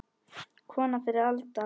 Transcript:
Kona fyrri alda.